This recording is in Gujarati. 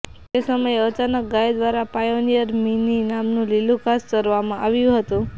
તે સમયે અચાનક ગાયો દ્વારા પાયોનિયર મીની નામનું લીલું ઘાસ ચરવામાં આવ્યું હતું